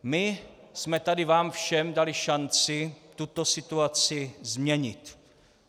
My jsme tady vám všem dali šanci tuto situaci změnit.